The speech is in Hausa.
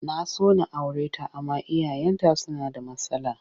Na so na aure ta amma iyayenta suna da matsala